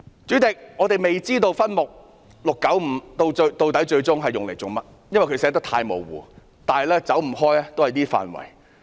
主席，我們未知道分目695的款項最終作甚麼用途，因為寫得太模糊，但也離不開這等範圍。